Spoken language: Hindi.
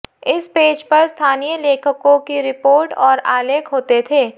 इस पेज पर स्थानीय लेखकों की रिपोर्ट और आलेख होते थे